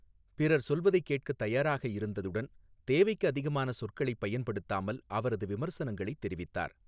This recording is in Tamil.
பிறர் சொல்வதைக் கேட்கத் தயாராக இருந்ததுடன் தேவைக்கு அதிகமான சொற்களைப் பயன்படுத்தாமல் அவரது விமர்சனங்களைத் தெரிவித்தார்